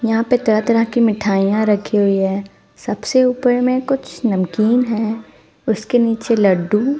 यहाँ पे तरह तरह की मिठाइयाँ रखी हुई हैं सबसे ऊपर में कुछ नमकीन है उसके नीचे लड्डू--